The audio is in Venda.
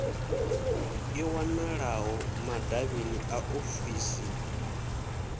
i wanalaho madavhini a ofisii